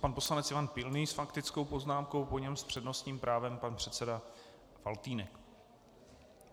Pan poslanec Ivan Pilný s faktickou poznámkou, po něm s přednostním právem pan předseda Faltýnek.